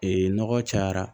Ee nɔgɔ cayara